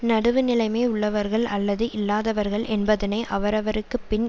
நடுவுநிலைமை உள்ளவர்கள் அல்லது இல்லாதவர்கள் என்பதனை அவரவருக்கு பின்